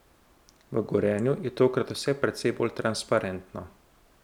V Gorenju je tokrat vse precej bolj transparentno.